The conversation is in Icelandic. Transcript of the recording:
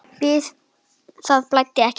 Það blæddi ekki mikið.